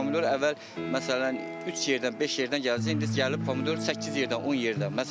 İndi pomidor əvvəl məsələn üç yerdən, beş yerdən gəlirdisə, indi gəlib pomidor səkkiz yerdən, 10 yerdən.